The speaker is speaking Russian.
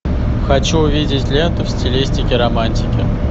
хочу увидеть ленту в стилистике романтики